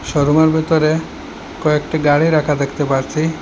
শোরুমের ভিতরে কয়েকটি গাড়ি রাখা দেখতে পারছি।